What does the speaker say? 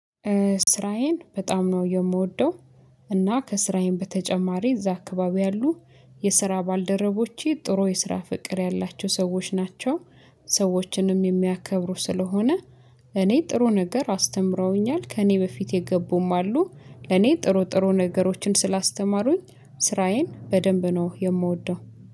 ስራዬን በጣም ነው የምወደው። እና ከስራዬም በተጨማሪ እዛ አካባቢ ያሉ የስራ ባልደረቦቼ ጥሩ የስራ ፍቅር ያላቸው ሰዎች ናቸው። ሰዎችንም የሚያከብሩ ስለሆነ እኔ ጥሩ ነገር አስተምረውኛል። ከእኔ በፊት የገቡም አሉ። ለኔ ጥሩ ጥሩ ነገሮችን ስላስተማሩኝ ስራዬን በደንብ ነው የምወደው።